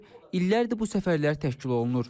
illərdir bu səfərlər təşkil olunur.